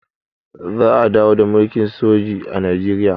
za a dawo da mulkin soji a najeriya